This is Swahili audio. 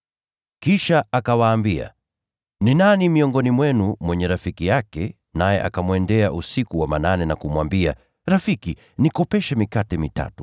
Kisha akawaambia, “Ni nani miongoni mwenu mwenye rafiki yake, naye akamwendea usiku wa manane na kumwambia, ‘Rafiki, nikopeshe mikate mitatu.